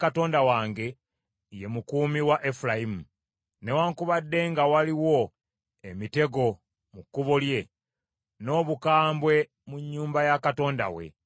Nnabbi awamu ne Katonda wange ye mukuumi wa Efulayimu, newaakubadde nga waliwo emitego mu kkubo lye, n’obukambwe mu nnyumba ya Katonda we.